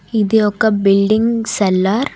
ఇది ఒక building seller.